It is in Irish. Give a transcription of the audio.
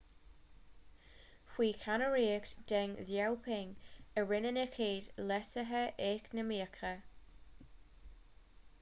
faoi cheannaireacht deng xiaoping a rinneadh na chéad leasuithe eacnamaíocha